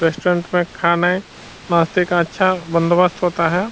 Restaurant में खाने नाश्ते का अच्छा बंदोबस्त होता है।